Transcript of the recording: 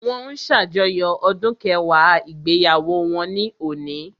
Wọ́n ń ṣàjọyọ̀ ọdún kẹwàá ìgbéyàwó wọn ní òní